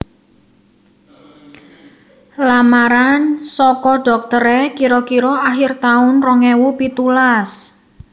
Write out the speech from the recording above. Lamaran soko doktere kiro kiro akhir taun rong ewu pitulas